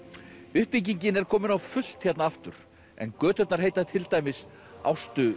uppbyggingin er komin á fullt hérna aftur en göturnar heita til dæmis Ástu